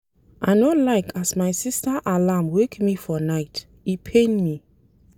I no like as my sista alarm wake me for night, e pain me.